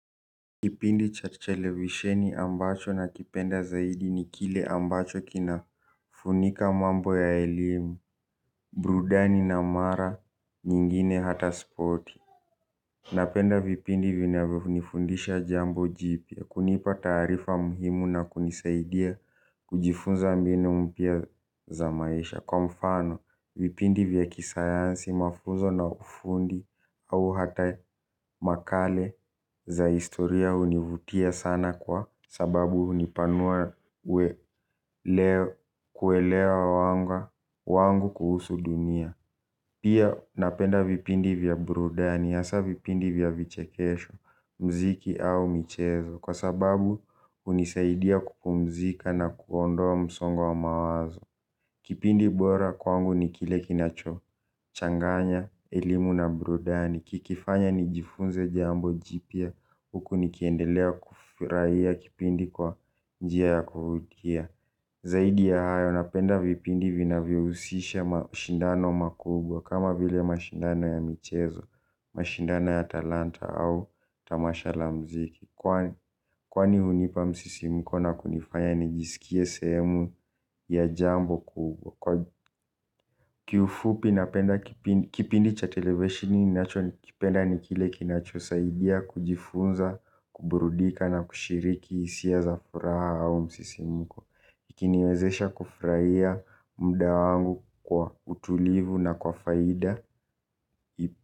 Kipindi cha televisheni ambacho nakipenda zaidi ni kile ambacho kinafunika mambo ya elimu, burudani na mara nyingine hata spoti. Napenda vipindi vinavyonifundisha jambo jipya, kunipa taarifa muhimu na kunisaidia kujifunza mbinu mpya za maisha. Kwa mfano, vipindi vya kisayansi, mafunzo na ufundi au hata makala za historia hunivutia sana kwa sababu hunipanua kuelea wangu kuhusu dunia. Pia napenda vipindi vya burudani, hasa vipindi vya vichekesho, muziki au michezo, kwa sababu hunisaidia kupumzika na kuondoa msongo wa mawazo. Kipindi bora kwangu ni kile kinachochanganya elimu na burudani, kikifanya nijifunze jambo jipya, huku nikiendelea kufurahia kipindi kwa njia ya kuvutia. Zaidi ya hayo napenda vipindi vinavyohusisha mashindano makubwa kama vile mashindano ya michezo, mashindano ya talanta au tamasha la muziki. Kwani hunipa msisimko na kunifanya nijisikie sehemu ya jambo kubwa. Kiufupi napenda kipindi cha televisheni ninachokipenda ni kile kinachosaidia kujifunza, kuburudika na kushiriki hisia za furaha au msisimko. Ikiniwezesha kufurahia muda wangu kwa utulivu na kwa faida.